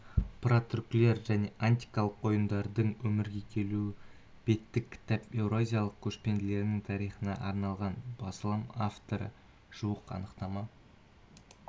прототүркілер және антикалық ойындардың өмірге келуі беттік кітап еуразиялық көшпелілердің тарихына арналған басылым авторы жуық анықтаманы